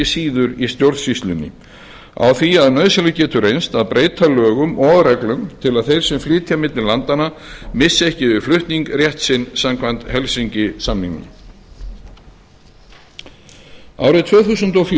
síður í stjórnsýslunni á því að nauðsynlegt getur reynst að breyta lögum og reglum til að þeir sem flytja milli landanna missi ekki við flutninginn réttar ársins samkvæmt helsinki samningnum árið tvö þúsund og